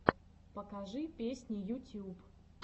покажи песни ютьюб